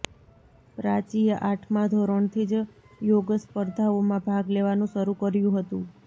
પ્રાચીએ આઠમાં ધોરણથી જ યોગસ્પર્ધાઓમાં ભાગ લેવાનું શરૂ કર્યું હતું